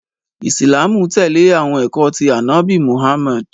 Islam tẹle awọn ẹkọ ti Anabi Muhammad.